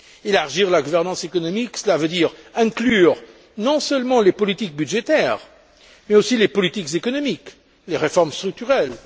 Élargir la gouvernance économique, cela veut dire inclure non seulement les politiques budgétaires mais aussi les politiques économiques et les réformes structurelles.